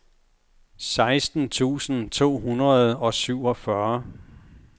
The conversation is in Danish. seksten tusind to hundrede og syvogfyrre